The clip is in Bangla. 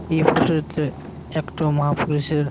এই ফটো -তে একটো মহা পুরুষের--